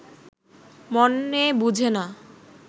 মনে বুঝে না